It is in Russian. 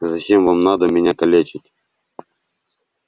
зачем вам надо меня калечить